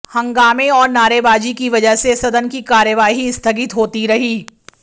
हंगामे और नारेबाजी की वजह से सदन की कार्यवाही स्थगित होती रही